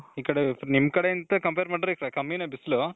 ಈ ಕಡೆ ನಿಮ್ ಕಡೆಗೆ compare ಮಾಡಿದ್ರೆ ಈ ಕಡೆ ಕಮ್ಮಿನೆ ಬಿಸಿಲು